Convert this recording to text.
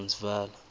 transvala